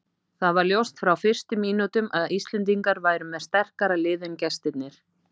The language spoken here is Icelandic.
Það var ljóst frá fyrstu mínútum að Íslendingar væru með sterkara lið en gestirnir.